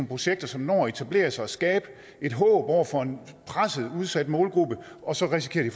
projekter som når at etablere sig og skabe et håb over for en presset udsat målgruppe og så risikerer de